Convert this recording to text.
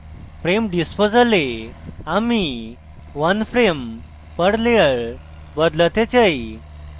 frame disposal এ আমি one frame per layer বদলাতে চাই